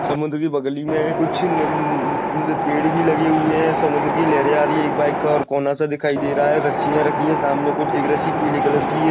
समुद्र की बगली मे कुछ नन नन पेड़ भी लगे हुए है समुद्र की लहर आ रही है एक बाईक और कोना सा दिखाई दे रहा है रस्सिया रखी है सामने कुछ एक रस्सी पीले कलर की है।